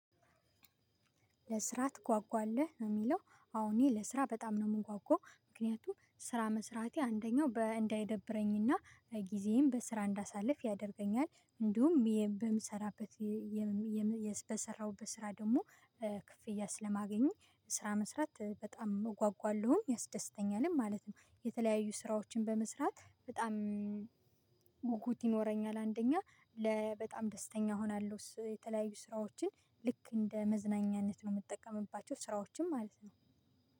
ለስራ ትጓጓለህ? ነው የሚለው። አዎ እኔ ለስራ በጣም ነው የምንጓጓው። ምክንያቱም ስራ መስራቴ አንደኛው እንዳይደብረኝና ጊዜዬን በስራ እንዳሳልፍ ያደርገኛል። እንዲሁም የም በምሰራበት የም የም የስ በሰራውበት ስራ ደግሞ ክፍያ ስለማገኘው ስራ መስራት በጣም እጓጓለሁም ያስደስተኛልም ማለት ነው። የተለያዩ ስራዎችን በመስራት በጣም ጉጉት ይኖረኛል አንደኛ ለ በጣም ደስተኛ እሆናለሁ የተለያዩ ስራዎችን ልክ እንደ መዝናኛነት ነው የምጠቀምባቸው ስራዎችን ማለት ነው።